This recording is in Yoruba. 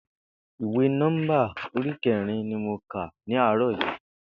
Ìwé Nó̩ḿbà orí ké̩rin ni mo kà ní àárò̩ yìí